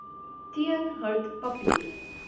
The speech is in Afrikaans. teen hout papier